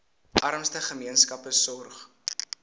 armste gemeenskappe sorg